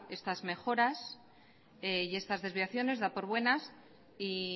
estas mejoras y estas desviaciones da por buenas y